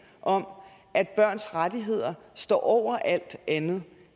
om at børns rettigheder står over alt andet